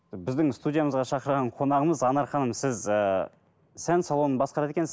біздің студиямызға шақырған қонағымыз анар ханым сіз ы сән салонын басқарады екенсіз